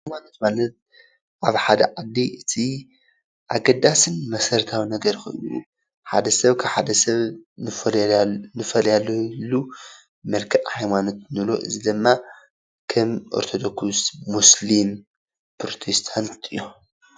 ሃይማኖት ማለት ኣብ ሓደ ዓዲ እቲ ኣገዳሲን መሰረታዉን ነገር ኮይኑ ሓደ ሰብ ካብ ሓደ ሰብ ንፈላል ንፈላልየሉ መልክዕ ሃይማኖት ንብሎ እዚ ድማ ከም ኦረቶዶክስ፣ ሙስሊም፣ ፕሮቴስታንት እዮም።